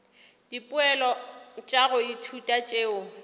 dipoelo tša go ithuta tšeo